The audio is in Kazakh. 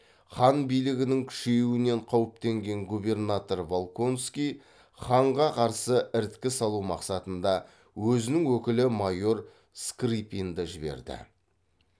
хан билігінің күшеюінен қауіптенген губернатор волконский ханға қарсы іріткі салу мақсатында өзінің өкілі майор скрыпинді жіберді